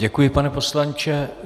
Děkuji, pane poslanče.